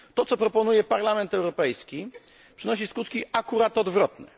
To, co proponuje Parlament Europejski, przynosi skutki akurat odwrotne.